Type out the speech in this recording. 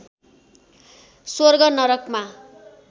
स्वर्ग नरकमा